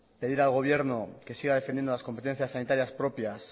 pedir al gobierno que siga defendiendo las competencias sanitarias propias